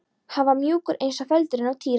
Hann var mjúkur eins og feldurinn á Týra.